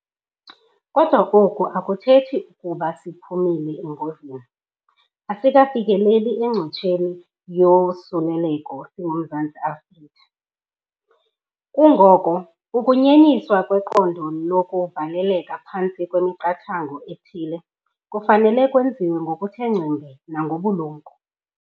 Kodwa oku akuthethi ukuba siphumile engozini. Asikafikeleli encotsheni yosuleleko singuMzantsi Afrika. Kungoko ukunyenyiswa kweqondo lokuvaleleka phantsi kwemiqathango ethile kufanele kwenziwe ngokuthe ngcembe nangobulumko.